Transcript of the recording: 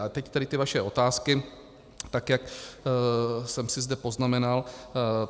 A teď tedy ty vaše otázky, tak jak jsem si zde poznamenal.